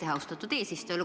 Aitäh, austatud eesistuja!